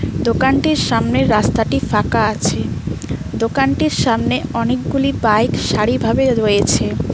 দোকানটির সামনের রাস্তাটি ফাঁকা আছে দোকানটির সামনে অনেকগুলি বাইক সারিভাবে রয়েছে।